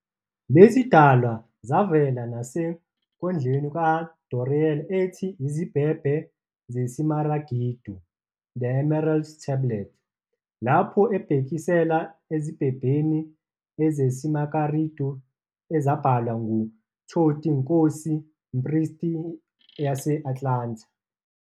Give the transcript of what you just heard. Lezidalwa zavela nasenkondlweni kaDoreal ethi "Izibhebhe zesimaragidu" "The Emerald Tablets", lapho ebhekisela ezibhebheni zesimaragidu ezabhalwa "nguThoti, inkosi-mpristi yase-Atlanta".